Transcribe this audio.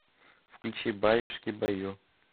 включи баюшки баю